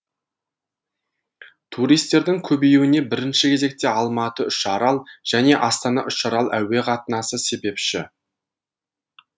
туристердің көбеюіне бірінші кезекте алматы үшарал және астана үшарал әуе қатынасы себепші